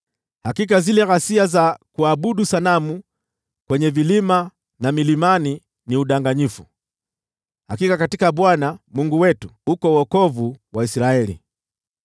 Hakika zile ghasia za kuabudu sanamu kwenye vilima na milimani ni udanganyifu; hakika katika Bwana , Mungu wetu, uko wokovu wa Israeli.